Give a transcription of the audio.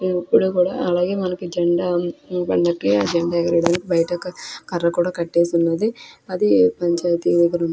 ఇప్పుడు కూడ అలాగే మనకి జెండా పండగక్కి ఆ జెండా ఎగిరి వెయ్యడానికి బైట ఒక కర్ర కూడ కట్టేసి ఉన్నది అది పంచాయితీ.